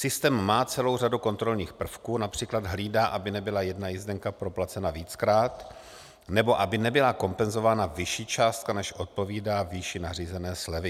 Systém má celou řadu kontrolních prvků, například hlídá, aby nebyla jedna jízdenka proplacena víckrát nebo aby nebyla kompenzována vyšší částka, než odpovídá výši nařízené slevy.